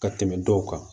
Ka tɛmɛ dɔw kan